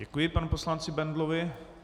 Děkuji panu poslanci Bendlovi.